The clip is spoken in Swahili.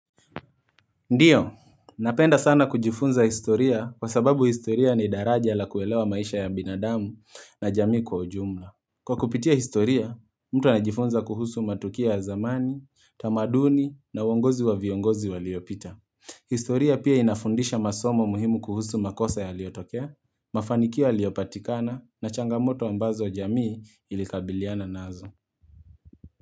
Ndiyo, napenda sana kujifunza historia kwasababu historia ni daraja la kuelewa maisha ya binadamu na jamii kwa ujumla Kwa kupitia historia, mtu anajifunza kuhusu matukia ya zamani, tamaduni na uongozi wa viongozi waliopita historia pia inafundisha masomo muhimu kuhusu makosa yaliotokea, mafanikio yaliyopatikana na changamoto ambazo jamii ilikabiliana nazo.